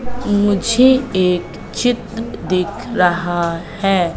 मुझे एक चित्र दिख रहा है।